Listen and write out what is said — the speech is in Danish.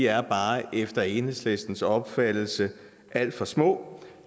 er bare efter enhedslistens opfattelse alt for små